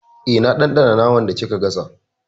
Eh, na ɗanɗana naman da kika gasa.